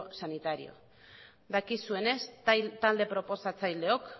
sanitario dakizuenez talde proposatzaileok